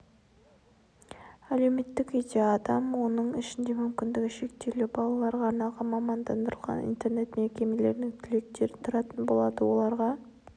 әлеуметтік үйде адам оның ішінде мүмкіндігі шектеулі балаларға арналған мамандандырылған интернет мекемелерінің түлектері тұратын болады оларға